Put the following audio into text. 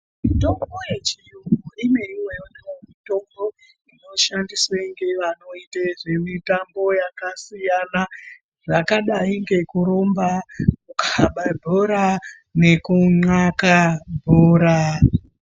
Mitombo yechiyungu imweniwo mitombo inoshandiswe ngeavanoite zvemitambo yakasiyana zvakadai ngekurumba kukaba bhora nekun'aka bhora.